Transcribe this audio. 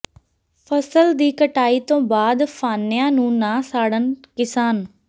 ਫ਼ਸਲ ਦੀ ਕਟਾਈ ਤੋਂ ਬਾਅਦ ਫਾਨਿਆਂ ਨੂੰ ਨਾ ਸਾੜਨ ਕਿਸਾਨ